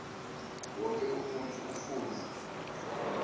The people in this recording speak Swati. wonkhe umuntfu ufuna